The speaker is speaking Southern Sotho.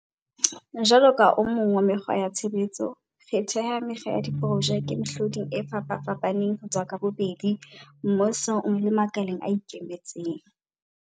jwalo ka o mong wa mekgwa ya tshebetso, re theha mekga ya diprojeke mehloding e fapafapaneng ho tswa ka bobedi, mmusong le makaleng a ikemetseng.